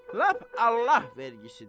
Lap Allah vergisidir.